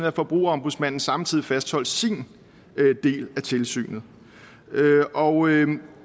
at forbrugerombudsmanden samtidig fastholdt sin del af tilsynet og